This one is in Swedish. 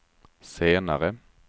senare